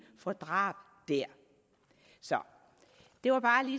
får drab der det var bare